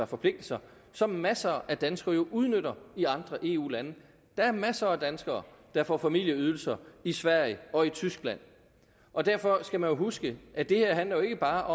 forpligtelser som masser af danskere jo udnytter i andre eu lande der er masser af danskere der får familieydelser i sverige og i tyskland og derfor skal man huske at det her jo ikke bare